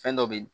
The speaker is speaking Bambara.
Fɛn dɔ be ye